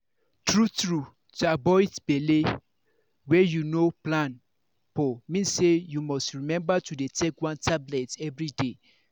true-true to avoid belle wey you no plan for mean say you must remember to dey take one tablet everyday